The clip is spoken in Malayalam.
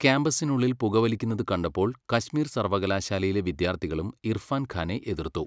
ക്യാമ്പസിനുള്ളിൽ പുകവലിക്കുന്നത് കണ്ടപ്പോൾ കശ്മീർ സർവകലാശാലയിലെ വിദ്യാർത്ഥികളും ഇർഫാൻ ഖാനെ എതിർത്തു.